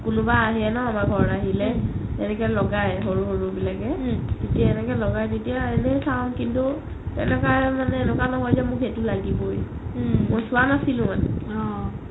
কোনোবা আহে ন আমাৰ ঘৰত আহিলে তেনেকে লগাই সৰু সৰু বিলাকে যেতিয়া এনেকে লগাই তেতিয়া এনে চাও কিন্তু এনেকা নহয় যে মোক সেইটো লাগিবৈ মই চোৱা নাছিলো মানে